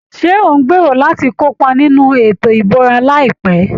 Ṣé ò ń gbèrò láti kópa nínú ètò ìbúra láìpẹ́?